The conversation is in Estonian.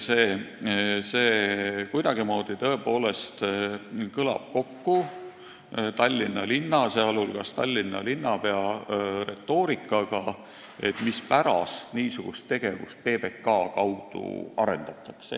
Kuidagimoodi see tõepoolest kõlab kokku Tallinna linna, sh Tallinna linnapea retoorikaga selle kohta, mispärast niisugust tegevust PBK kaudu arendatakse.